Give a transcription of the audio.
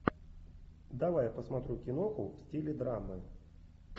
давай я посмотрю киноху в стиле драмы